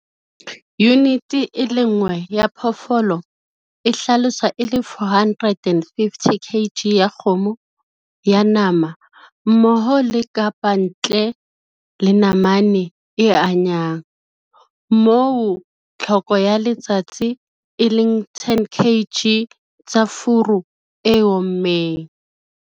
Yunite e le nngwe ya phoofolo e hlaloswa e le 450 kg ya kgomo ya nama mmoho le kapa ntle le namane e anyang, moo tlhoko ya letsatsi e leng 10 kg tsa furu e ommeng.